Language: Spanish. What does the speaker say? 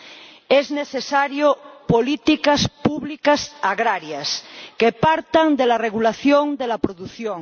Son necesarias políticas públicas agrarias que partan de la regulación de la producción